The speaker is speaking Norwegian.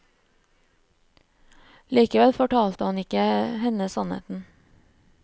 Likevel fortalte han ikke henne sannheten.